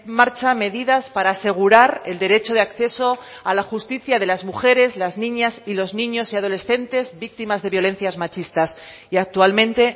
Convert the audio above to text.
marcha medidas para asegurar el derecho de acceso a la justicia de las mujeres las niñas y los niños y adolescentes víctimas de violencias machistas y actualmente